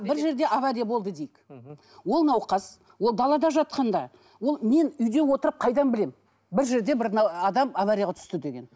бір жерде авария болды дейік мхм ол науқас ол далада жатқанда ол мен үйде отырып қайдан білемін бір жерде бір адам аварияға түсті деген